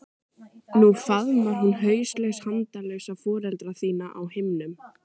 Nú faðmar hún hauslaus handalausa foreldra þína á himnum.